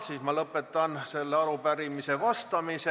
Siis ma lõpetan sellele arupärimisele vastamise.